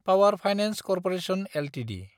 power finance corporation Ltd